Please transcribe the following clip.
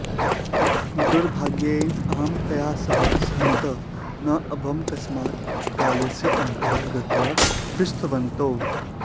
दुर्भाग्येन अहं तया सह सहमतः न अभवम् तस्मात् पुस्तकालयस्य अन्तः गत्वा पृष्टवन्तौ